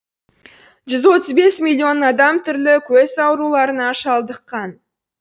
жүз отыз бес миллион адам түрлі көз ауруларына шалдыққан